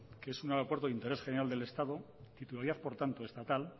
que es un aeropuerto de interés general del estado titularidad por lo tanto estatal